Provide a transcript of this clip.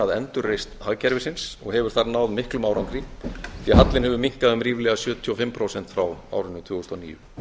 að endurreisn hagkerfisins og hefur þar náð miklum árangri því hallinn hefur minnkað um ríflega sjötíu og fimm prósent frá árinu tvö þúsund og níu